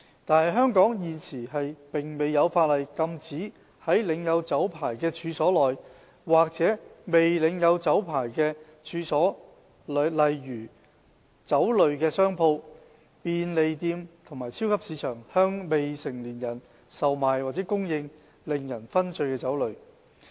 但是，香港現時並沒有法例禁止在領有酒牌的處所內，或在未領有酒牌的處所如商鋪、便利店和超級市場內，向未成年人售賣或供應令人醺醉的酒類。